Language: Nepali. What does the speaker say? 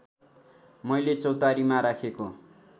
मैले चौतारीमा राखेको